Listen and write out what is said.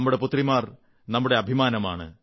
നമ്മുടെ പുത്രിമാർ നമ്മുടെ അഭിമാനമാണ്